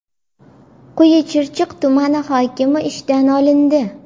Quyi Chirchiq tumani hokimi ishdan olindi.